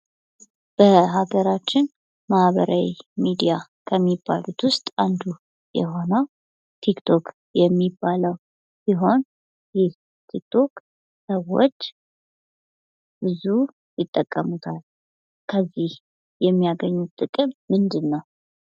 በሀገራችን ማህበራዊ ሚዲያ ከሚባሉት ውስጥ አንዱ የሆነው ቲክቶክ የሚባለው ሲሆን ይህ ቲክቶክ ሰዎች ብዙ ይጠቀሙታል ከዚህ የሚያገኙት ጥቅም ምንድነው?